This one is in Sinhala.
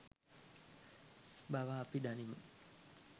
බව අපි දනිමු.